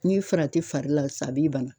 Ni farati fari la sa a b'i bana